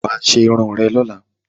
Wà á ṣe irun ẹ lọ́la!